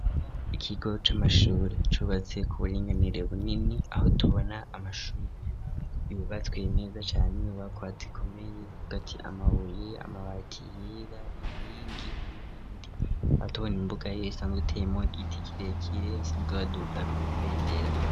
Ikigo c'amashuri cubatse kuburinganire bunini aho tubona amashuri yubatswe neza cane inyubakwa zikomeye uvuga ati amabuye amabati yera inkingi n'ibindi duca tubone imbuga isanzwe iteyemwo igiti kirekire basanzwe baduzako ibendera.